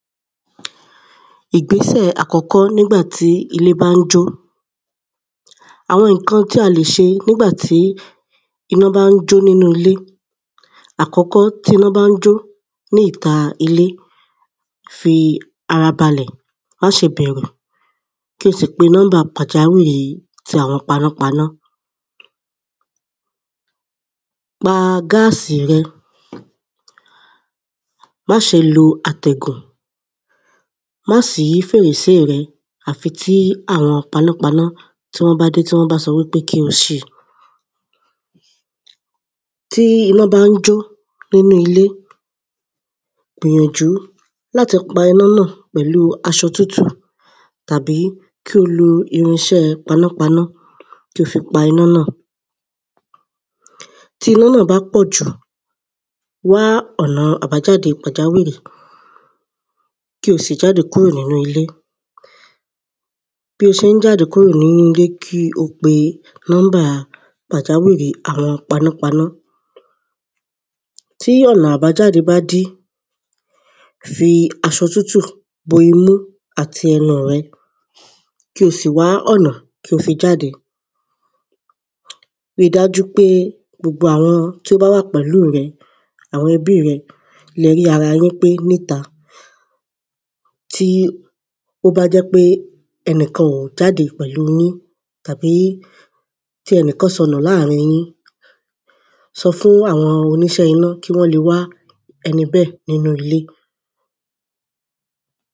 Ìgbésẹ̀ àkọ́kọ́ nígbà tí ilé bá ń jó Àwọn nǹkan tí a lè ṣe nígbà tí iná bá ń jó nínú ilé Àkọ́kọ́ tí iná bá ń jó ní ìta ilé fi ara balẹ̀ má ṣe bẹ̀rù kí o sì pe number pàjáwìrì tí àwọn panápaná Pa gas rẹ Má ṣe lo àtẹ̀gùn Má ṣí fèrèsé rẹ àfi tí àwọn panápaná tí wọ́n bá dé tí wọ́n bá sọ wípé kí o ṣí i Tí iná bá ń jó nínú ilé gbìyànjú láti pa iná náà pẹ̀lú aṣọ tútù tàbí kí o lo irinṣẹ́ panápaná kí o fi pa iná náà Tí iná náà bá pọ̀jù wá ọ̀nà àbájáde pàjáwìrì kí o sì jáde kúrò nínú ilé Bí ó ṣe ń jáde kúrò nínú ilé kí o pe number pàjáwìrì àwọn panápaná Tí ọ̀nà àbájáde bá dí fi aṣọ tútù bo imú àti ẹnu rẹ kí o sì wá ọ̀nà kí o fi jáde Ri dájú pé gbogbo àwọn tí ó bá wà pẹ̀lú rẹ àwọn ẹbí rẹ ni ẹ rí ara yín pé ní ìta Tí ó bá jẹ́ pé ẹnìkan ò jáde pẹ̀lú yín tàbí ẹnìkan sọnù láàrín yín sọ fún àwọn oníṣẹ́ iná kí wọ́n lè wá ẹni bẹ́ẹ̀ nínú ilé